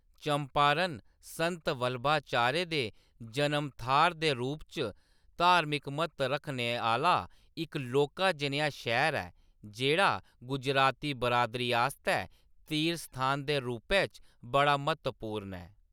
चंपारण संत वल्लभाचार्य दे जनम थाह्‌र दे रूप च धार्मिक म्हत्तव आह्‌‌‌ला इक लौह्‌‌‌का जनेहा शैह्‌र ऐ, जेह्‌‌ड़ा गुजराती बरादरी आस्तै तीर्थ स्थान दे रूपै च बड़ा म्हत्तवपूर्ण ऐ।